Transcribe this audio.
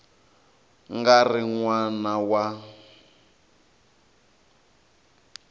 nga ri n wana wa